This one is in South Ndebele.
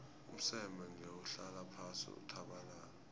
umseme ngewuhlala phasi uthabalale